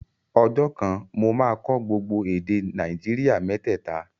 Ọjọ́ kan, mo máa kọ́ gbogbo èdè Nàìjíríà mẹ́tẹ̀ta